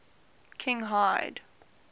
kinhide